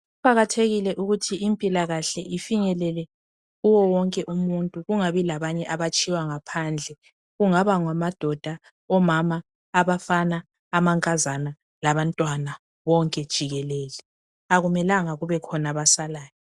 Kuqakathekile ukuthi impilakahle ifinyelele kuwo wonke umuntu kungabi labanye abatshiywa ngaphandle kungaba ngamadoda, omama, abafana amankazana labantwana bonke jikelele akumelanga kubekhona abasalayo.